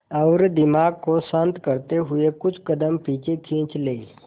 और दिमाग को शांत करते हुए कुछ कदम पीछे खींच लें